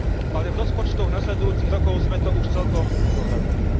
Ale v rozpočtoch nasledujúcich rokov sme to už celkom nezohľadnili.